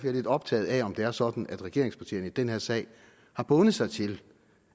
er lidt optaget af om det er sådan at regeringspartierne i den her sag har bundet sig til